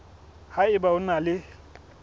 ha eba o na le